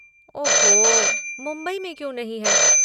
ओह हो! मुंबई में क्यों नहीं है?